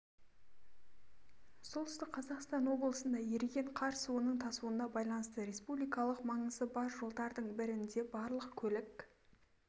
солтүстік қазақстан облысында еріген қар суының тасуына байланысты республикалық маңызы бар жолдардың бірінде барлық көлік